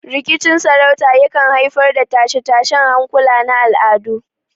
Rikicin sarauta yakan haifar da tashe-tashen hankula na al'adu.